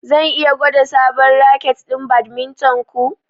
Zan iya gwada sabon raket ɗin badminton ku?